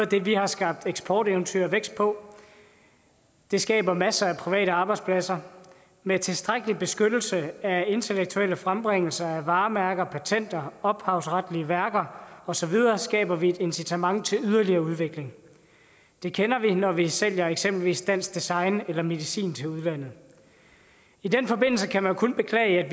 det vi har skabt eksporteventyr og vækst på det skaber masser af private arbejdspladser og med tilstrækkelig beskyttelse af intellektuelle frembringelser af varemærker patenter ophavsretlige værker og så videre skaber vi et incitament til yderligere udvikling det kender vi når vi sælger eksempelvis dansk design eller medicin til udlandet i den forbindelse kan man kun beklage at